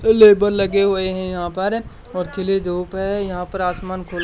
labour लगे हुए हैं यहां पर और खिली धूप है यहां पर आसमान खु--